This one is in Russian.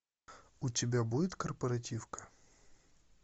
у тебя будет корпоративка